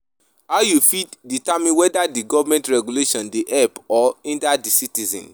how you fit determine whether di government regulation dey help or hinder di citizens